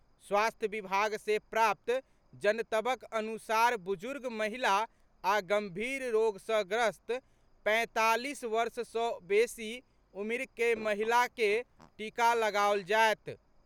स्वास्थ्य विभाग से प्राप्त जनतबक अनुसार बुजुर्ग महिला आ गंभीर रोग सॅ ग्रस्त पैंतालीस वर्ष सॅ बेसी उमिरक महिला के टीका लगाओल जायत।